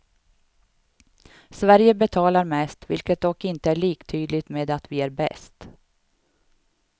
Sverige betalar mest, vilket dock inte är liktydigt med att vi är bäst.